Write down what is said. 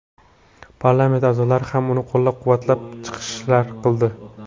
Parlament a’zolari ham uni qo‘llab-quvvatlab chiqishlar qildi.